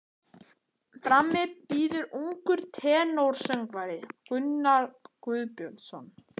Frammi bíður ungur tenórsöngvari, Gunnar Guðbjörnsson.